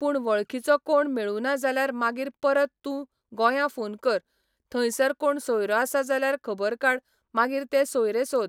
पूण वळखीचो कोण मेळूना जाल्यार मागीर परत तूं गोंयां फोन कर, थंयसर कोण सोयरो आसा जाल्यार खबर काड मागीर ते सोयरे सोद.